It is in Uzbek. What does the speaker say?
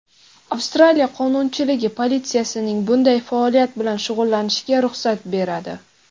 Avstraliya qonunchiligi politsiyaning bunday faoliyat bilan shug‘ullanishiga ruxsat beradi.